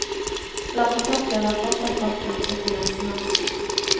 Lommetørkleet var fortsatt godt plantet på nesen hans.